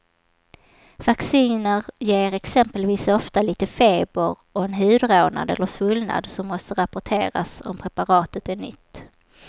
Vacciner ger exempelvis ofta lite feber och en hudrodnad eller svullnad som måste rapporteras om preparatet är nytt.